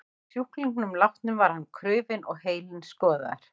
Að sjúklingnum látnum var hann krufinn og heilinn skoðaður.